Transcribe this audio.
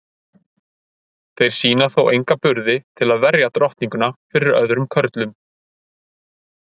þeir sýna þó enga burði til að verja drottninguna fyrir öðrum körlum